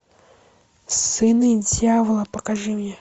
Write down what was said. сыны дьявола покажи мне